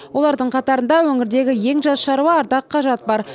олардың қатарында өңірдегі ең жас шаруа ардақ қажат бар